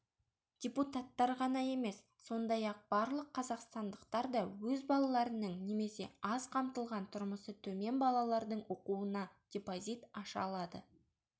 депутаттар ғана емес сондай-ақ барлық қазақстандықтар да өз балаларының немесе аз қамтылған тұрмысы төмен балалардың оқуына депозит аша алады